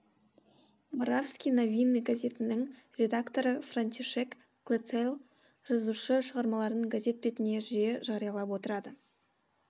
моравски новины газетінің редакторы франтишек клацел жазушы шығармаларын газет бетіне жиі жариялап отырады